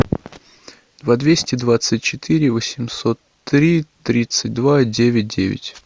два двести двадцать четыре восемьсот три тридцать два девять девять